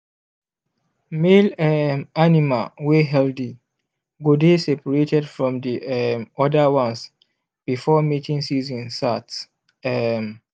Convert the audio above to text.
male um animal wey healthy go dey seprated from the um other ones before mating season sart um